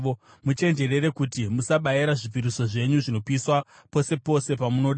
Muchenjerere kuti musabayira zvipiriso zvenyu zvinopiswa pose pose pamunoda.